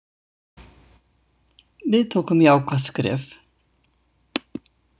Við tókum jákvætt skref.